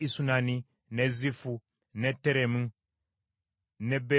n’e Zifu, n’e Teremu n’e Beyaloosi,